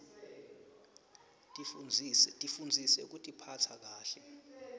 tifundzise kutiphatsa kahle